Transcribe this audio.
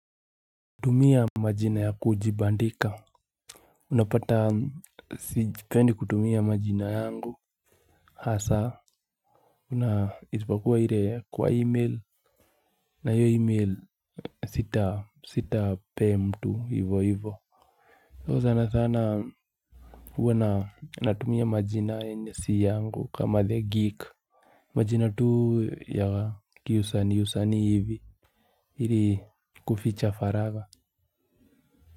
Tumia majina ya kujibandika. Unapata sipendi kutumia majina yangu. Hasaa una isipokuwa ile kwa e-mail. Na hiyo e-mail sita sitapea mtu hivyo hivyo So sana sana huwa natumia majina yenye si yangu kama the geek. Majina tu ya kiusanii usanii hivi ili kuficha faraga.